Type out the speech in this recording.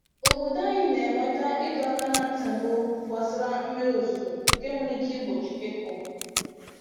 Obodo anyị na-enweta ịdọ aka ná ntị mbụ gbasara mmiri ozuzo nke nwere ike igbochi ịkụ